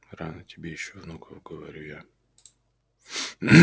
рано тебе ещё внуков говорю я